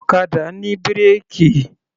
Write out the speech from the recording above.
Ọ̀kadà ní bírèkì.